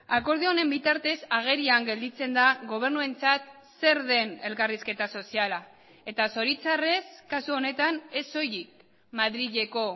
akordio honen bitartez agerian gelditzen da gobernuentzat zer den elkarrizketa soziala eta zoritxarrez kasu honetan ez soilik madrileko